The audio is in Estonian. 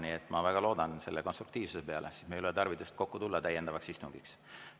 Nii et ma väga loodan selle konstruktiivsuse peale, siis ei ole meil tarvidust täiendavaks istungiks kokku tulla.